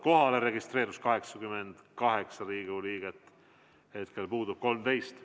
Kohalolijaks registreerus 88 Riigikogu liiget, hetkel puudub 13.